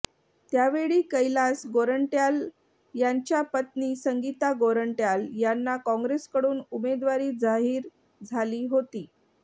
त्यावेळी कैलास गोरंट्याल यांच्या पत्नी संगीता गोरंट्याल यांना काँग्रेसकडून उमेदवारी जाहीर झाली होती